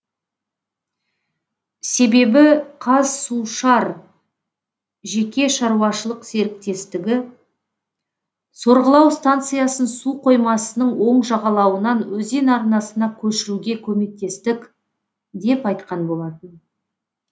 себебі қазсушар жеке шаруашылық серіктестігі сорғылау станциясын су қоймасының оң жағалауынан өзен арнасына көшіруге көмектестік деп айтқан болатын